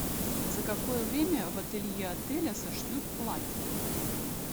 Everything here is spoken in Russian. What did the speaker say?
за какое время в ателье отеля сошьют платье